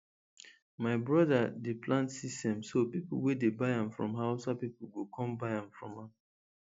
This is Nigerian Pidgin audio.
my brother dey plant sesame so people wey dey buy am from hausa people go come buy from am